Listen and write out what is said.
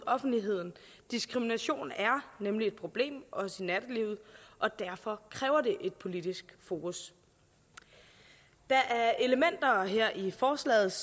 offentligheden diskrimination er nemlig et problem også i nattelivet og derfor kræver det et politisk fokus der er elementer her i forslaget